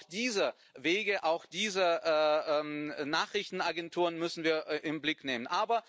Also auch diese Wege, auch diese Nachrichtenagenturen müssen wir in den Blick nehmen.